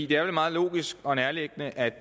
det er vel meget logisk og nærliggende at